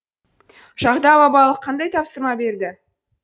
жағда бабалық қандай тапсырма берді